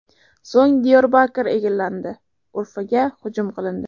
So‘ng Diyorbakr egallandi, Urfaga hujum qilindi.